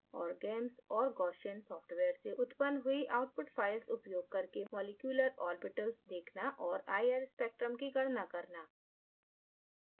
और gamess और gaussian software से उत्पन्न हुई output files उपयोग करके मॉलिक्यूलर ऑर्बिटल्स देखना और ir spectrum की गणना करना